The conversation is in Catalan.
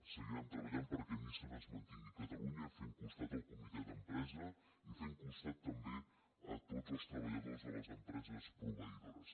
seguirem treballant perquè nissan es mantingui a catalunya fent costat al comitè d’empresa i fent costat també a tots els treballadors de les empreses proveïdores